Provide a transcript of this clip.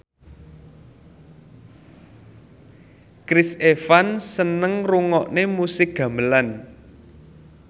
Chris Evans seneng ngrungokne musik gamelan